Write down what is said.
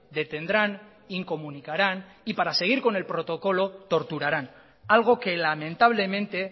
detendrán incomunicarán y para seguir con el protocolo torturarán algo que lamentablemente